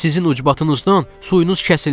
Sizin ucbatınızdan suyunuz kəsildi.